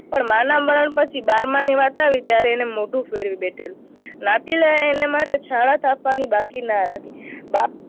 પણ માંના મરણ પછી બારમાની વાત આવી ત્યારે એને મોઢે ફેરવી બેઠેલું. નાતીલાએ એને માથે છાણા થાપવાનું બાકી ના રાખ્યું. બાપ